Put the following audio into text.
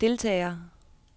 deltagere